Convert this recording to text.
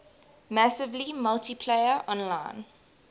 massively multiplayer online